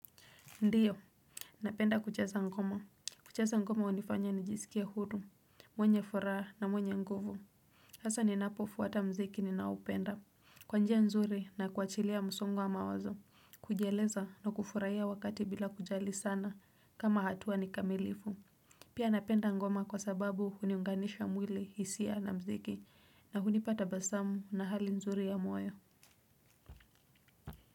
Ndiyo napenda kucheza ngoma kucheza ngoma hunifanya nijisikie huru, mwenye furaha na mwenye nguvu. Hasa ninapofwata mziki ninaopenda kwanjia nzuri na kuachilia msongo wa mawazo kujieleza na kufurahia wakati bila kujali sana kama hatua nikamilifu pia napenda ngoma kwa sababu huniunganisha mwili, hisia na mziki. Na hunipa tabasamu na hali nzuri ya moyo.